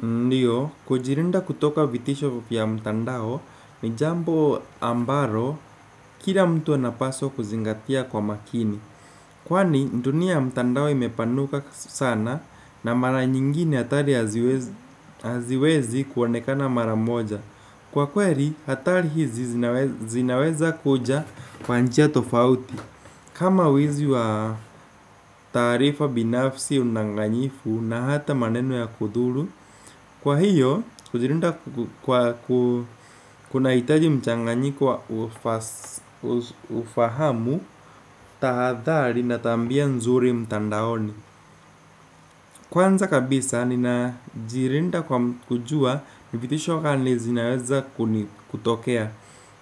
Ndiyo, kujilinda kutoka vitisho vya mtandao, ni jambo ambalo, kila mtu anapaswa kuzingatia kwa makini. Kwani, dunia mtandao imepanuka sana na mara nyingine hatari haziwezi kuonekana mara moja. Kwa kweli, hatari hizi zinaweza kuja kwa njia tofauti. Kama wizi wa taarifa binafsi udanganyifu na hata maneno ya kudhuru. Kwa hiyo, kujilinda kwa kunahitaji mchanganyiko wa ufahamu, tahadhari na tabia nzuri mtandaoni. Kwanza kabisa, ninajilinda kwa kujua, ni vitisho gani zinaweza kutokea.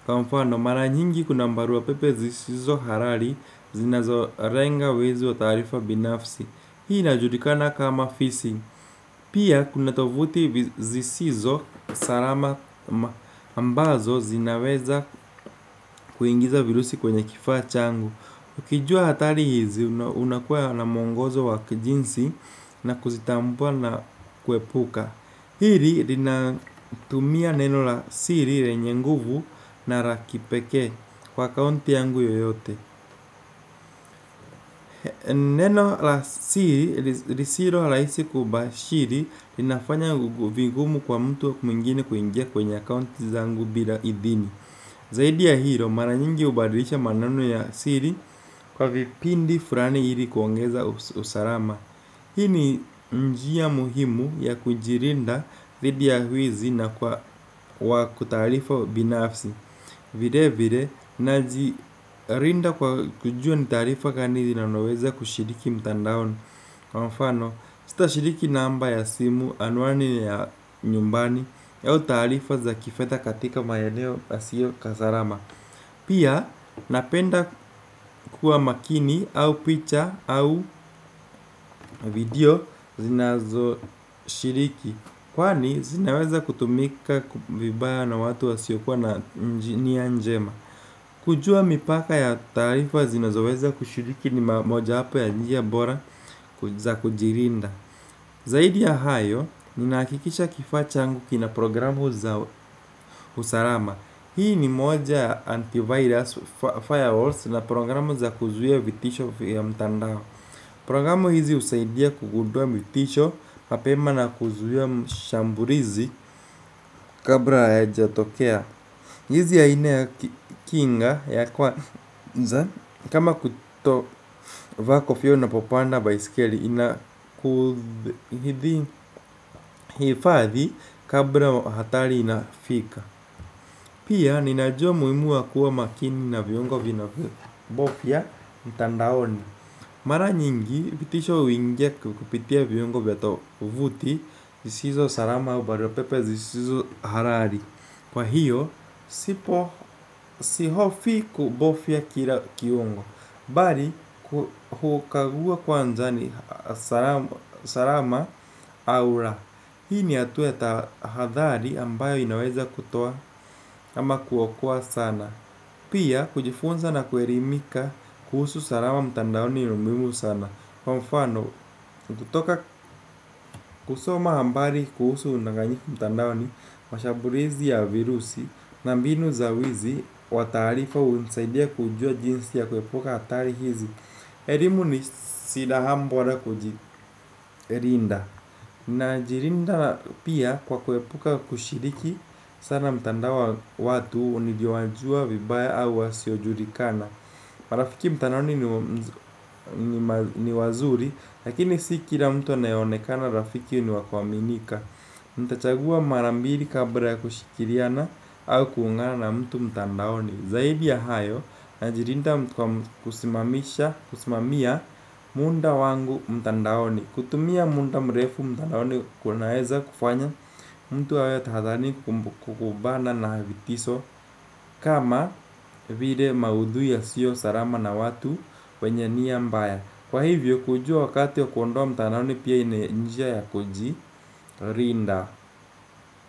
Kwa mfano, mara nyingi kuna barua pepe zisizo halali, zinazo lenga wizi wa tarifa binafsi. Hii najulikana kama fisi. Pia kuna tovuti zisizo salama ambazo zinaweza kuingiza virusi kwenye kifaa changu. Ukijua hatari hizi unakua na mwongozo wa kijinsi na kuzitambua na kuepuka. Hili linatumia neno la siri lenye nguvu na la kipeke kwa akaonti yangu yoyote. Neno la siri, lisilo rahisi kubashiri. Linafanya vigumu kwa mtu mwingine kuingia kwenye account zangu bila idhini. Zaidi ya hilo, mara nyingi hubadilisha manano ya siri. Kwa kipindi fulani hili kuongeza usalama. Hii ni njia muhimu ya kujilinda dhidi ya wizi na kwa wakutarifa binafsi. Vile vile, najilinda kwa kujua ni tarifa gani zinanoweza kushiriki mtandaon. Kwa mfano, sitashiriki namba ya simu anwani ya nyumbani au taarifa za kifedha katika maeneo yasio ya salama. Pia, napenda kuwa makini au picha au video zinazoshiriki. Kwani, zinaweza kutumika vibaya na watu wasio kuwa na njinia njema. Kujua mipaka ya taarifa zinazoweza kushiriki ni mamoja hapa ya njia bora za kujilinda. Zaidi ya hayo, ninahakikisha kifaa changu kina programu za usarama. Hii ni moja antivirus firewalls na programu za kuzuia vitisho vya mtandao. Programu hizi husaidia kugundua vitisho, mapema na kuzuia mshambulizi kabla yajatokea. Hizi aina ya kinga ya kwanza. Kama kutovaa kofia unapopanda baisikeli. Inakuthi hifathi kabla hatari inafika. Pia ninajua muhimu wa kuwa makini na viungo vinavyobofya mtandaoni. Mara nyingi vitisho uingea kupitia viungo vya tovuti zisizo salama au barua pepe zisizo halali. Kwa hiyo, sipo sihofii kubofya kila kiungo. Bari, hukagua kwanza ni salama au ra. Hii ni hatua ya tahadhari ambayo inaweza kutoa ama kuokoa sana. Pia, kujifunza na kuerimika kuhusu salama mtandaoni ni muhimu sana. Kwa mfano, kutoka kusoma hambari kuhusu undanganyu mtandaoni mashamburizi ya virusi na mbinu za wizi wa taarifa hunisaidia kujua jinsi ya kuepuka hatari hizi. Elimu ni silaha mbora kujirinda. Najirinda pia kwa kuepuka kushiriki sana mtandao wa watu unijua jua vibaya au wasiojulikana. Marafiki mtandaoni ni wazuri lakini si kila mtu anayeonekana rafiki ni wa kuaminika ntachagua mara mbiri kabla ya kushikiriana au kuungana na mtu mtandaoni. Zaidi ya hayo najirinda mtu kwa kusimamisha kusimamia munda wangu mtandaoni. Kutumia munda mrefu mtandaoni kunaeza kufanya mtu awe tahadhani kukubana na vitiso. Kama vire maudhui yasiyo sarama na watu wenye nia mbaya. Kwa hivyo kujua wakati ya kuondoa mtandaoni pia ine ni njia ya kojirinda.